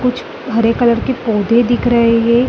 कुछ हरे कलर के पौधे दिख रहे हैं।